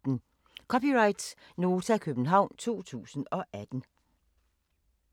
(c) Nota, København 2018